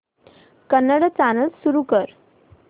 Kannada channel सुरू कर